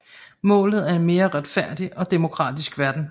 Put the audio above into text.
Målet er en mere retfærdig og demokratisk verden